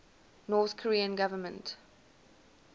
north korean government